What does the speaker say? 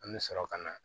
An bɛ sɔrɔ ka na